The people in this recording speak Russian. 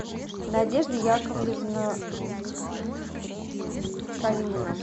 надежда яковлевна калинина